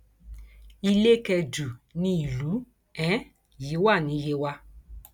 ilé kẹdù ni ìlú um yìí wà ní yewa